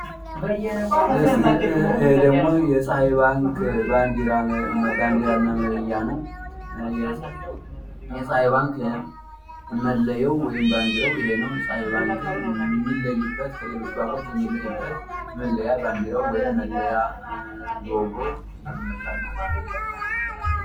ይህ ደግሞ የፀሀይ ባንክ ባንዲራ እና መለያ ነው። የፀሃይ ባንክ መለያው ወይም ባንዲራው ይሄ ነው። ፀሃይ ባንክ ከሌሎች ባንኮች የሚለይበት መለያ ባንዲራው አርማ ሎጎው ይህን ይመስላል።